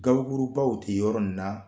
Gabakurubaw tɛ yɔrɔ in na